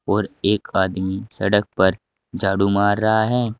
और एक आदमी सड़क पर झाड़ू मार रहा है।